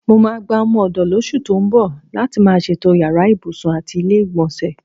Mo máa gba o̩mo̩-ò̩dò̩ lós̩ù tó ń bò̩ láti máa s̩ètó̩jú yàrá ibùsùn àti ilé-ìgbò̩nsè̩.